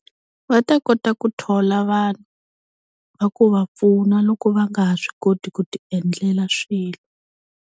Va ta kota ku thola vanhu va ku va pfuna loko va nga ha swi koti ku tiendlela swilo.